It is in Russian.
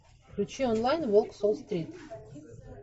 включи онлайн волк с уолл стрит